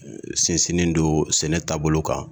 Sinsinen don sɛnɛ taabolo kan.